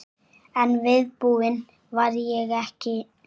En viðbúin var ég ekki.